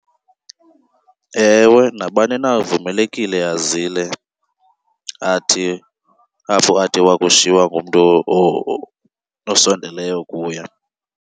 Ewe, nabani na uvumelekile azile, athi apho athi wakushiywa ngumntu osondeleyo kuye.